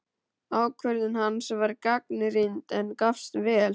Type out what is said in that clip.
Ákvörðun hans var gagnrýnd, en gafst vel.